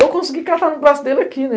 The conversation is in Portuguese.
Eu consegui catar no braço dele aqui, né?